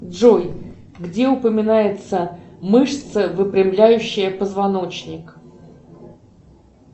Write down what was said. джой где упоминается мышца выпрямляющая позвоночник